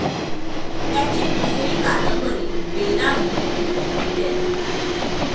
त्याची दुसरी कादंबरी, बेलामी, इ.